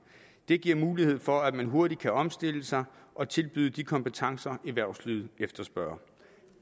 det giver mulighed for at man hurtigt kan omstille sig og tilbyde de kompetencer erhvervslivet efterspørger